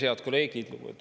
Head kolleegid!